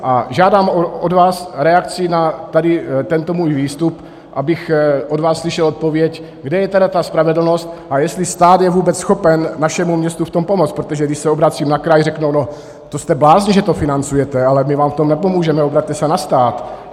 A žádám od vás reakci na tento můj výstup, abych od vás slyšel odpověď, kde je teda ta spravedlnost a jestli stát je vůbec schopen našem městu v tom pomoct, protože když se obracím na kraj, řeknou - no, to jste blázni, že to financujete, ale my vám v tom nepomůžeme, obraťte se na stát.